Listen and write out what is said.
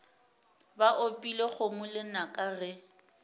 ba opile kgomo lenaka ge